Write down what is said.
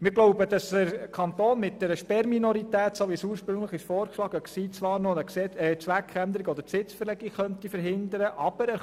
Wir glauben, dass der Kanton mit der ursprünglich vorgeschlagenen Sperrminorität zwar noch eine Zweckänderung oder eine Besitzverlegung verhindern könnte.